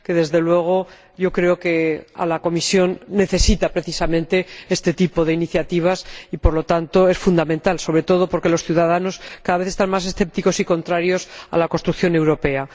Desde luego, creo que la Comisión necesita precisamente este tipo de iniciativas y, por lo tanto, son fundamentales, sobre todo porque los ciudadanos son cada vez más escépticos y contrarios a la construcción europea.